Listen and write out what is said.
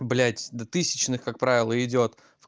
блядь до тысячных как правило идёт